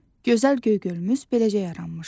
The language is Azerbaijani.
Gözəl Göygölümüz beləcə yaranmışdı.